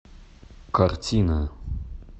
картина